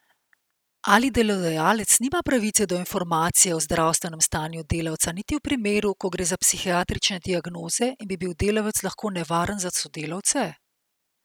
Ali delodajalec nima pravice do informacije o zdravstvenem stanju delavca niti v primeru, ko gre za psihiatrične diagnoze in bi bil delavec lahko nevaren za sodelavce?